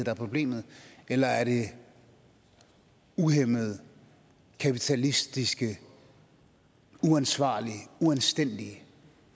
er problemet eller er det uhæmmede kapitalistiske uansvarlige uanstændige